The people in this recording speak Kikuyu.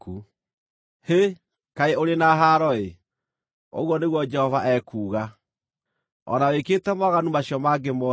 “ ‘Hĩ, kaĩ ũrĩ na haaro-ĩ! ũguo nĩguo Jehova ekuuga. O na wĩkĩte mawaganu macio mangĩ mothe,